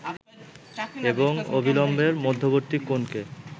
এবং অভিলম্বের মধ্যবর্তী কোণকে